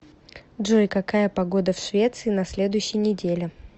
джой какая погода в швеции на следующей неделе